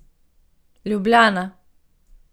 Ljubljana.